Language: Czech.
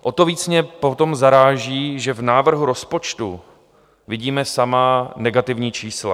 O to víc mě potom zaráží, že v návrhu rozpočtu vidíme samá negativní čísla.